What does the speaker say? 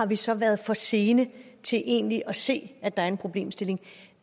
vi så har været for sene til egentlig at se at der var en problemstilling